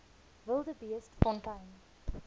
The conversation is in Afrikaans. wildebeestfontein